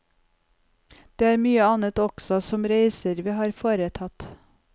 Det er mye annet også, som reiser vi har foretatt.